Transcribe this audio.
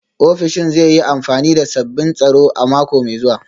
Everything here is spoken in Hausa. Ofishin zai yi amfani da sabbin tsaro a mako mai zuwa